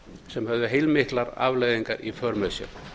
sem höfðu heilmiklar afleiðingar í för með sér